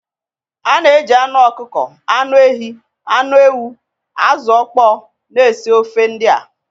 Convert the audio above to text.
A na-eji anụ ọkụkọ, anụ ehi, anụ ewu, azụ̀ ọkpọ na-esi ofe ndị a